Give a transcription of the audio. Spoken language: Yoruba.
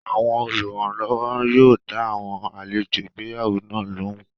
Àwọn oluranlowo yóò dá àwọn àlejò ìgbéyàwó náà lóhùn